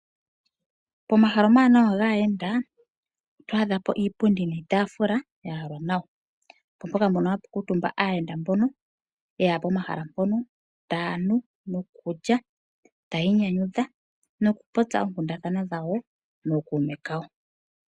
Pomahala omawanawa gaayenda oto adha po iipundi niitafula ya yalwa nawa, opo mpoka ndono hapu kaatumba aayenda mbono yeya pomahala mpono taya nu, no kulya ta yiinyanyudha no kupopya oonkundathana dhawo nookuume kawo.